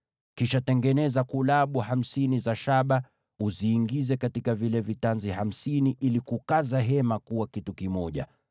Kisha tengeneza vifungo hamsini vya shaba, uviingize katika vile vitanzi ili kukaza hema pamoja kuwa kitu kimoja.